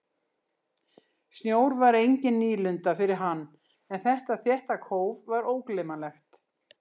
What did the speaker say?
Snjór var engin nýlunda fyrir hann en þetta þétta kóf var ógleymanlegt.